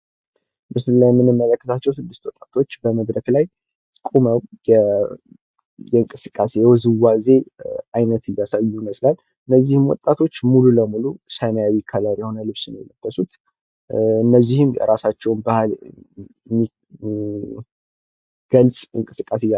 በምስል ላይ የምንመለከታቸው ስድስት ወጣቶች በመድረክ ላይ ቁመው በእንቅስቃሴ ውዝዋዜ አይነት እያሳዩ ይመስላል። እነዚህም ወጣቶች ሙሉ በሙሉ ሰማያዊ ከለር ነው የለበሱት እነዚህም የራሳቸውን ባህል የሚገልፅ እንቅስቃሴ